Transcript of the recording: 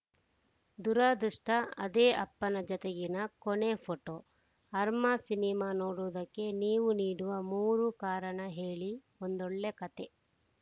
ದುರಾದೃಷ್ಟಅದೇ ಅಪ್ಪನ ಜತೆಗಿನ ಕೊನೆ ಫೋಟೋ ಅರ್ಮಾ ಸಿನಿಮಾ ನೋಡುವುದಕ್ಕೆ ನೀವು ನೀಡುವ ಮೂರು ಕಾರಣ ಹೇಳಿ ಒಂದೊಳ್ಳೆ ಕತೆ